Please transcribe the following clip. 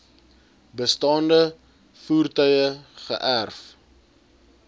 bestaande voertuie geërf